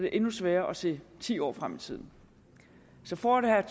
er endnu sværere at se ti år frem i tiden så for at have